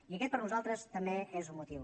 i aquest per nosaltres també és un motiu